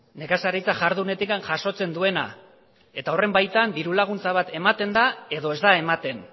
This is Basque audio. nekazaritza jardunetik jasotzen duena eta horren baitan ditu laguntza bat ematen da edo ez da ematen